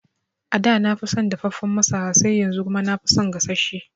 Ada nafi son dafaffen masara sai yanzu kuma nafi son gasasshe